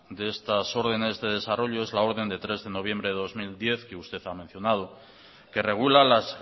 de estas órdenes de desarrollo es la orden del tres de noviembre de dos mil diez que usted ha mencionado que regula las